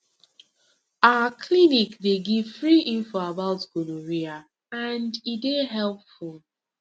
our clinic dey give free info about gonorrhea and e dey helpful